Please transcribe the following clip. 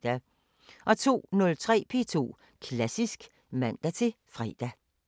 02:03: P2 Klassisk (man-fre)